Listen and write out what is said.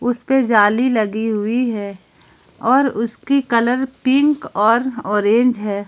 उसे पे जाली लगी हुई है और उसकी कलर पिंक और औरेंज है।